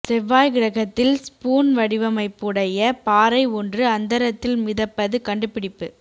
செவ்வாய் கிரகத்தில் ஸ்பூன் வடிவமைப்புடைய பாறை ஒன்று அந்தரத்தில் மிதப்பது கண்டுபிடிப்பு